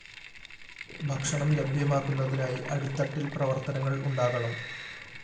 ഭക്ഷണം ലഭ്യമാക്കുന്നതിനായി അടിത്തട്ടില്‍ പ്രവര്‍ത്തനങ്ങള്‍ ഉണ്ടാകണം